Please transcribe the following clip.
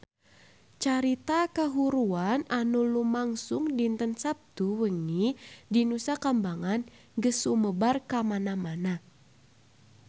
Carita kahuruan anu lumangsung dinten Saptu wengi di Nusa Kambangan geus sumebar kamana-mana